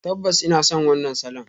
Tabbas ina son wannan salon.